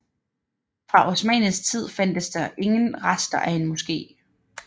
Fra osmannisk tid fandtes der ingen rester af en moske